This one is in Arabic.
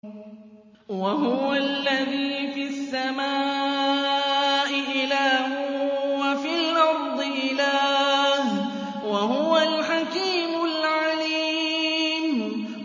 وَهُوَ الَّذِي فِي السَّمَاءِ إِلَٰهٌ وَفِي الْأَرْضِ إِلَٰهٌ ۚ وَهُوَ الْحَكِيمُ الْعَلِيمُ